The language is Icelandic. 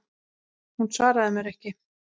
Hún svaraði mér ekki.